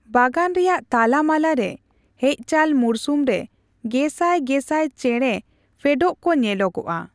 ᱵᱟᱜᱟᱱ ᱨᱮᱭᱟᱜ ᱛᱟᱞᱟᱢᱟᱞᱟ ᱨᱮ, ᱦᱮᱡᱪᱟᱞ ᱢᱩᱨᱥᱩᱢ ᱨᱮ ᱜᱮᱥᱟᱭ ᱜᱮᱥᱟᱭ ᱪᱮᱬᱮ ᱯᱷᱮᱰᱚᱜ ᱠᱚ ᱧᱮᱞᱚᱜᱼᱟ ᱾